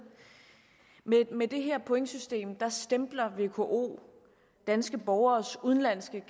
med det her pointsystem stempler vko danske borgeres udenlandske